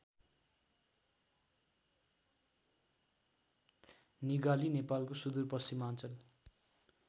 निगाली नेपालको सुदूरपश्चिमाञ्चल